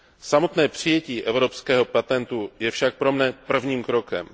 Samotné přijetí evropského patentu je však pro mne prvním krokem.